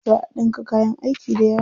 Za a ɗinka kayan aiki dayawa.